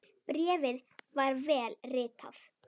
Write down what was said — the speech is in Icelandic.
Bréfið var vel ritað.